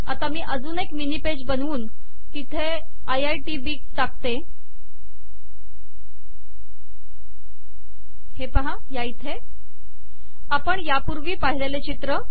आता मी अजून एक मिनी पेज बनवून तेथे आय आय टी बी टाकते आपण यापूर्वी पाहिलेले चित्र